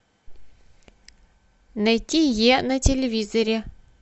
найти е на телевизоре